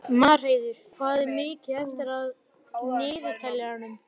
Marheiður, hvað er mikið eftir af niðurteljaranum?